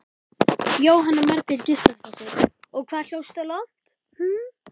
Jóhanna Margrét Gísladóttir: Og hvað hljópstu langt?